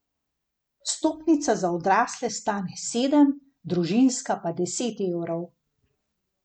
Vstopnica za odrasle stane sedem, družinska pa deset evrov.